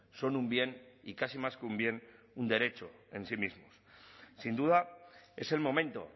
son un bien y casi más que un bien un derecho en sí mismos sin duda es el momento